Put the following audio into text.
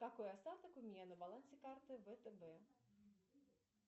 какой остаток у меня на балансе карты втб